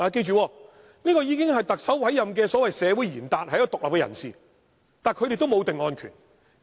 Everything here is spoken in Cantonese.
他們已是特首委任的所謂社會賢達，是獨立人士，但他們也沒有定案權。